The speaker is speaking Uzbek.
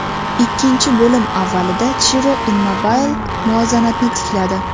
Ikkinchi bo‘lim avvalida Chiro Immobile muvozanatni tikladi.